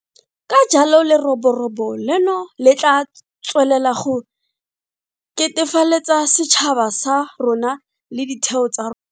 Ka jalo leroborobo leno le tla tswelela go ketefaletsa setšhaba sa rona le ditheo tsa ro.